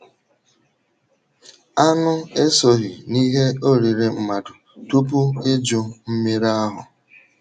Anụ esoghị n’ihe oriri mmadụ tupu Iju Mmiri ahụ.